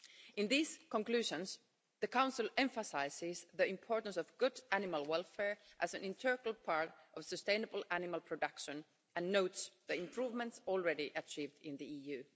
In these conclusions, the Council emphasises the importance of good animal welfare as an integral part of sustainable animal production, and notes the improvements already achieved in the EU.